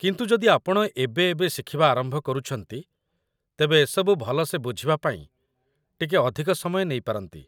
କିନ୍ତୁ ଯଦି ଆପଣ ଏବେ ଏବେ ଶିଖିବା ଆରମ୍ଭ କରୁଛନ୍ତି, ତେବେ ଏସବୁ ଭଲସେ ବୁଝିବା ପାଇଁ ଟିକେ ଅଧିକ ସମୟ ନେଇପାରନ୍ତି